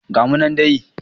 Ga mu nan dai